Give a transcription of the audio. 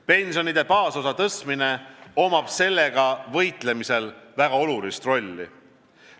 Pensionide baasosa tõstmine omab sellega võitlemisel väga olulist rolli.